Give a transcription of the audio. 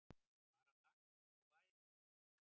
Bara takk og bæ!